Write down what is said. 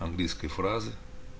английской фразы